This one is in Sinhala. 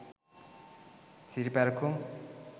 siriparakum